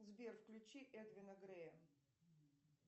сбер включи эдвина грея